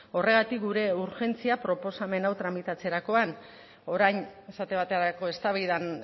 horregatik gure urgentzia proposamen hau tramitatzerakoan orain esate baterako eztabaidan